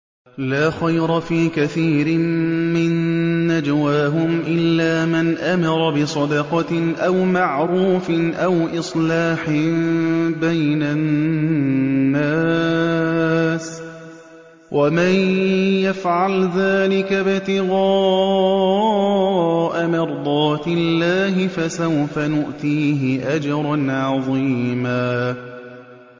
۞ لَّا خَيْرَ فِي كَثِيرٍ مِّن نَّجْوَاهُمْ إِلَّا مَنْ أَمَرَ بِصَدَقَةٍ أَوْ مَعْرُوفٍ أَوْ إِصْلَاحٍ بَيْنَ النَّاسِ ۚ وَمَن يَفْعَلْ ذَٰلِكَ ابْتِغَاءَ مَرْضَاتِ اللَّهِ فَسَوْفَ نُؤْتِيهِ أَجْرًا عَظِيمًا